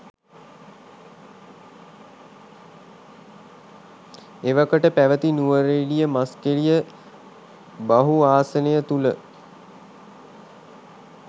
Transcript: එවකට පැවැති නුවරඑළියමස්කෙළිය බහු ආසනය තුළ